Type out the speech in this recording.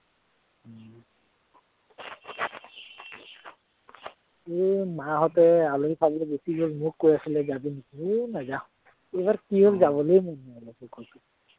এৰ মাহঁতে আলহী খাবলে গুচি গল, মোক কৈ আছিলে যাবি নেকি, সেই নাযাঁও, এইবাৰ কি হল যাবলেই মন নাযায় মোৰ কতো